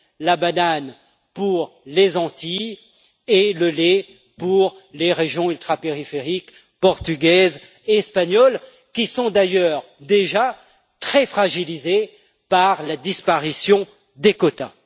la banane pour les Antilles et le lait pour les régions ultrapériphériques portugaises et espagnoles, qui sont d'ailleurs, déjà, très fragilisées par la disparition des quotas.